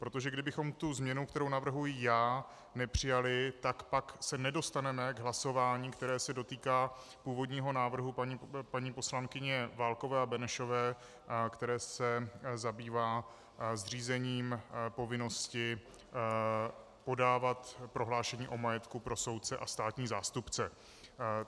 Protože kdybychom tu změnu, kterou navrhuji já, nepřijali, tak pak se nedostaneme k hlasování, které se dotýká původního návrhu paní poslankyně Válkové a Benešové, který se zabývá zřízením povinnosti podávat prohlášení o majetku pro soudce a státní zástupce.